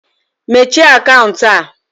Mechie akaụntụ a!